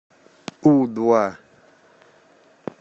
у два